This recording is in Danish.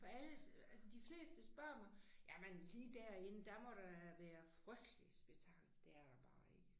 For alle altså de fleste spørger mig jamen lige derinde der må da være frygteligt spektakel. Det er der bare ikke